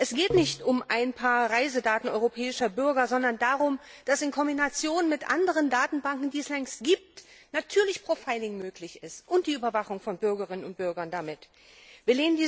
Es geht nicht um ein paar Reisedaten europäischer Bürger, sondern darum, dass in Kombination mit anderen Datenbanken, die es längst gibt, natürlich profiling und damit die Überwachung von Bürgerinnen und Bürgern möglich ist.